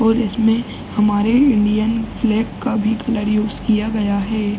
और इसमें हमारे इंडियन फ्लैग का भी कलर भी यूज़ किया गया है।